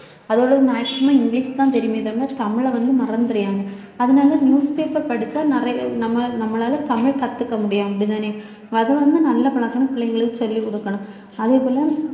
அதுங்களுக்கு maximum English தான் தெரியுமே தவிர தமிழை வந்து மறந்திறாயிங்க அதனால newspaper படிச்சா நிறைய நம்ம~ நம்மளால தமிழ் கத்துக்க முடியும் அப்படித்தானே அது வந்து நல்ல பழக்கம்ன்னு பிள்ளைங்களுக்கு சொல்லிக் கொடுக்கணும் அதே போல